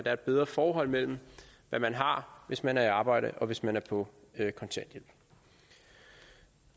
er et bedre forhold mellem hvad man har hvis man er i arbejde og hvis man er på kontanthjælp